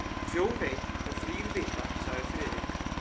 Þjóð veit þá þrír vita sagði Friðrik.